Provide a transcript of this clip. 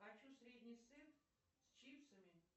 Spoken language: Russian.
хочу средний сет с чипсами